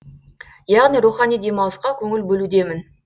яғни рухани демалысқа көңіл бөлудемін